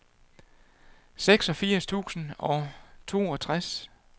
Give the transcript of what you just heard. seksogfirs tusind og toogtres